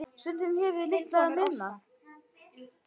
Stundum hefur litlu munað.